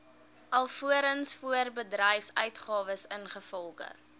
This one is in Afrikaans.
alvorens voorbedryfsuitgawes ingevolge